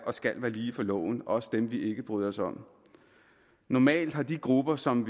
og skal være lige for loven også dem som vi ikke bryder os om normalt har de grupper som